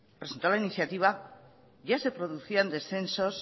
presentó la iniciativa ya se producían descensos